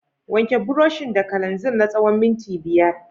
Wanke burushin da kananzir na tsawon minti biyar.